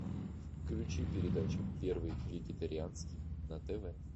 включи передачу первый вегетарианский на тв